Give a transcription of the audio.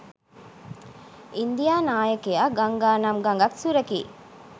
India නායකයා ගංගානම් ගඟත් සුරකී